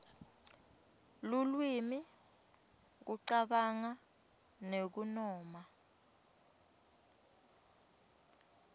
lulwimi kucabanga nekunoma